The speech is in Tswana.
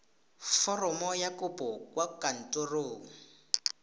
foromo ya kopo kwa kantorong